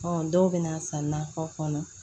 dɔw bɛ na san natɔ fana